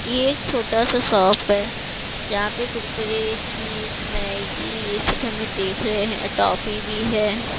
ये एक छोटा सा शॉप है जहाँ पे कुरकुरे चिप्स मैगी ये सब हमें देख रहे हैं टॉफी भी है।